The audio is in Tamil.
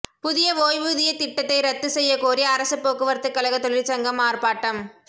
புதிய ஓய்வூதிய திட்டத்தை ரத்து செய்ய கோரி அரசு போக்குவரத்து கழக தொழிற்சங்கம் ஆர்ப்பாட்டம்